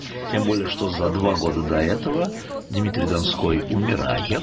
тем более что за два года до этого дмитрий донской умирает